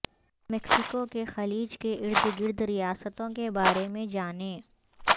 Mexico کے خلیج کے ارد گرد ریاستوں کے بارے میں جانیں